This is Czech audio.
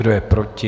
Kdo je proti?